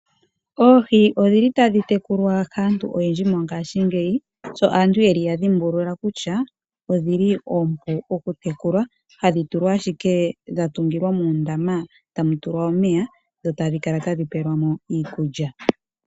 Oohi otadhi tekulwa kaantu oyendji mongashingeyi sho aantu yadhimbulula kutya oompu okutekula. Ohadhi tulwa ashike muundama womeya dho tadhi kala tadhi pelwamo iikulya.